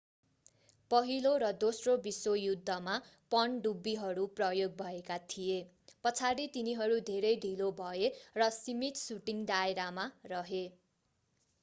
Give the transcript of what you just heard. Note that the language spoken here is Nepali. पहिलो र दोस्रो विश्व युद्धमा पनडुब्बीहरू प्रयोग भएका थिए पछाडि तिनीहरू धेरै ढिलो भए र सीमित शूटिंग दायरामा रहे